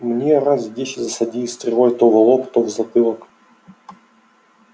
мне раз десять засадили стрелой то в лоб то в затылок